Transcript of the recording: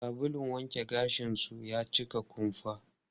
Sabulun wanke gashin su ya cika kumfa.